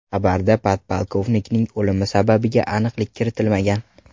Xabarda podpolkovnikning o‘limi sababiga aniqlik kiritilmagan.